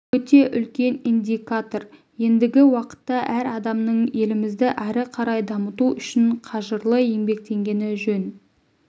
өте үлкен индикатор ендігі уақытта әр адамның елімізді әрі қарай дамыту үшін қажырлы еңбектенгені жөн